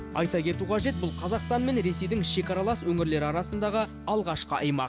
айта кету қажет бұл қазақстан мен ресейдің шекаралас өңірлері арасындағы алғашқы аймақ